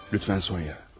Zəhmət olmasa, Sonya.